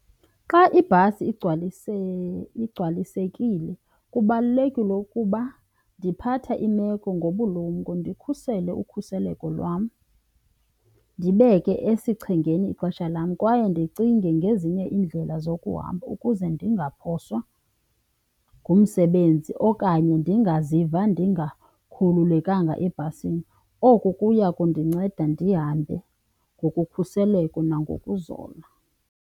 Xa ibhasi igcwalisekile kubalulekile ukuba ndiphatha imeko ngobulumko, ndikhusele ukhuseleko lwam, ndibeke esichengeni ixesha lam kwaye ndicinge ngezinye iindlela zokuhamba ukuze ndingaphoswa ngumsebenzi okanye ndingaziva ndingakhululekanga ebhasini. Oku kuya kundinceda ndihambe ngokukhuseleko nangokuzola.